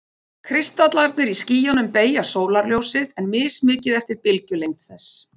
Kristallarnir í skýjunum beygja sólarljósið, en mismikið eftir bylgjulengd þess.